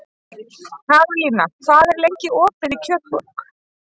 Karólína, hvað er lengi opið í Kjötborg?